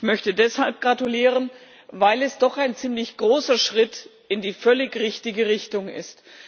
Ich möchte deshalb gratulieren, weil es doch ein ziemlich großer Schritt in die völlig richtige Richtung ist.